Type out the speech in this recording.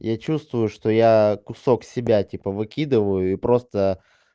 я чувствую что я кусок себя типа выкидываю и просто